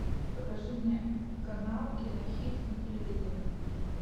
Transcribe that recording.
покажи мне канал кинохит на телевизоре